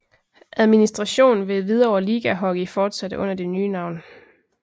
Administration ved Hvidovre Ligahockey fortsatte under det nye navn